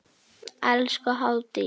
Elsku Hafdís.